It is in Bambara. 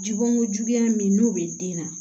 Jɔnko juguya min n'o bɛ den na